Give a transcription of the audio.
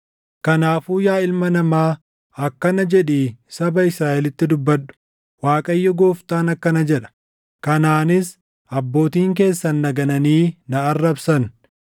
“Kanaafuu yaa ilma namaa, akkana jedhii saba Israaʼelitti dubbadhu; ‘ Waaqayyo Gooftaan akkana jedha: Kanaanis abbootiin keessan na gananii na arrabsan;